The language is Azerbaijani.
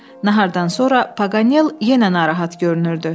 Nahardan sonra Pagal yenə narahat görünürdü.